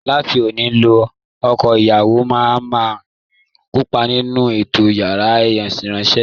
Láti òní lọ, ọkọ ìyàwó náà á máa kópa nínú ètò yàrá ìsanra